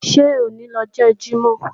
Sọ̀ ní lọ́jọ Jímọ̀?